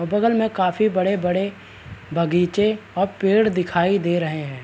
बगल मैं काफी बड़े-बड़े बगीचे और पेड़ दिखाई दे रहे हैं।